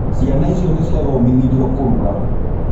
Ciana icio nĩ ciathomithirio kũruga.